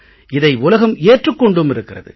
இதை உலகம் ஏற்றுக் கொண்டும் இருக்கிறது